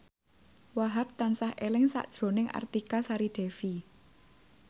Wahhab tansah eling sakjroning Artika Sari Devi